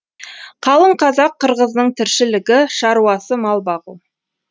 қалың қазақ қырғыздың тіршілігі шаруасы мал бағу